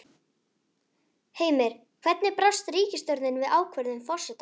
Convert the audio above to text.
Heimir, hvernig brást ríkisstjórnin við ákvörðun forsetans?